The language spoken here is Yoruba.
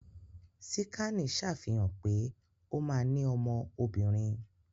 Síkànì ṣàfihàn pé ó ma ní ọmọ obìnrin